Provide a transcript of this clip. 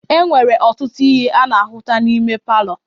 E nwere ọtụtụ ihe a na-ahụta n'ime palọ.